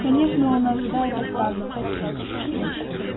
конечно он ожидает отказа